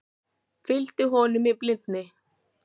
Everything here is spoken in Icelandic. Fylgdi honum í blindni